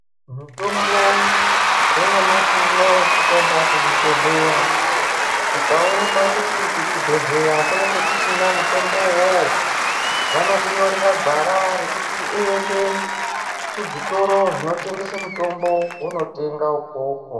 Mitombo yenyamashi unou tikaenda kuzvibhehleya ikaoneka kuti kuchibhehleya kunenge kusina mutombo uwowo vanokunyorera gwara rekuti uende kuzvitoro zvinotengesa mutombo wonotenga ukoko.